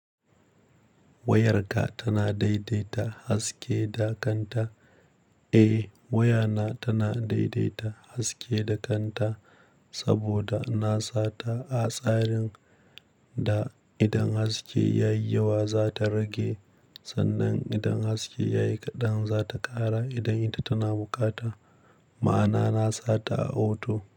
Wayarka tana daidaita haske da kanta? Eh wayana tana daidaita haske da kanta saboda na sata a tsarin da idan haske yayi yawa zata rage sannan idan haske yayi kaɗan zata ƙara idan ita tana bukata. Ma'ana na sata a auto.